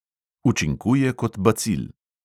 Učinkuje kot bacil.